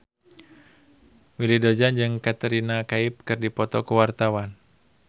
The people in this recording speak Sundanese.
Willy Dozan jeung Katrina Kaif keur dipoto ku wartawan